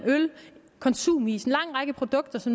konsumis øl en lang række produkter